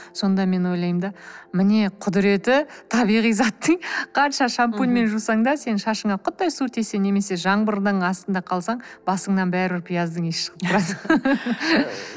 сонда мен ойлаймын да міне құдіреті табиғи заттың қанша шампуньмен жусаң да сенің шашыңа құттай су тисе немесе жаңбырдың астында қалсаң басыңнан бәрібір пияздың иісі шығып тұрады